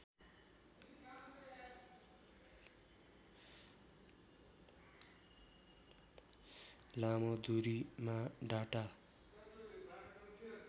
लामो दूरीमा डाटा